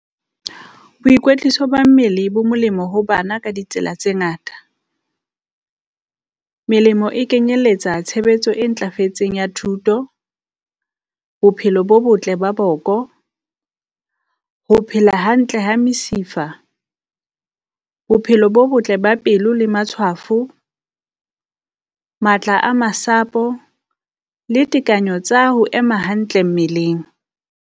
Boikwetliso ba mmele bo molemo ho bana ka ditsela tse ngata. Melemo e kenyelletsa tshebetso e ntlafetseng ya thuto, bophelo bo botle ba boko, Ho phela hantle ha mesifa, bophelo bo botle ba pelo le matshwafo, matla a masapo le tekanyo tsa ho ema hantle mmeleng.